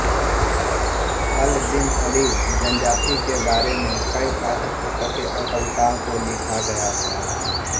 अल Bin Ali जनजाति के बारे में कई पाठ्यपुस्तकें और कविताओं को लिखा गया था